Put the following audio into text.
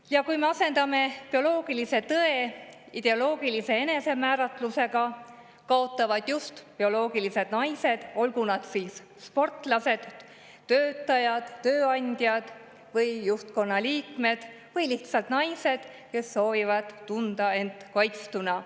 Ja kui me asendame bioloogilise tõe ideoloogilise enesemääratlusega, siis kaotavad just bioloogilised naised, olgu nad siis sportlased, töötajad, tööandjad või juhtkonna liikmed või lihtsalt naised, kes soovivad tunda end kaitstuna.